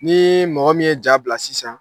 Nii mɔgɔ min ye ja bila sisan